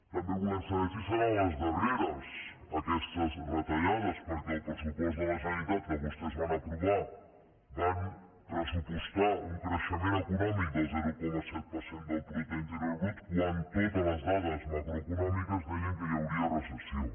també volem saber si seran les darreres aquestes retallades perquè al pressupost de la generalitat que vostès van aprovar van pressupostar un creixement econòmic del zero coma set per cent del producte interior brut quan totes les dades macroeconòmiques deien que hi hauria recessió